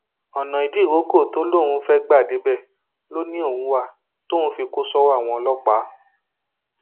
ọnà ìdíròkọ tó lóun fẹẹ gbà débẹ ló ní òun wà tóun fi kó sọwọ àwọn ọlọpàá